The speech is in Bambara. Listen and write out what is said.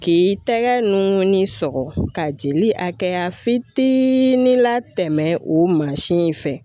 K'i tɛgɛ nungunni sɔgɔ ka jeli a kɛ ya fitiini latɛmɛ o mansin in fɛ.